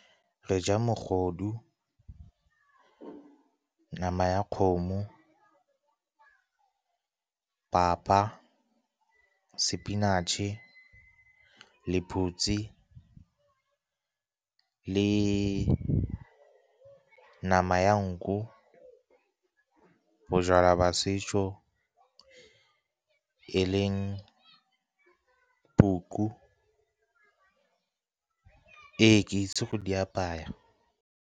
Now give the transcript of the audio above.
Re ja mogodu, nama ya kgomo, papa, sepinatšhe, lephutsi, le nama ya nku, bojalwa jwa setso e leng tuku. Ee, ke itse go di apaya.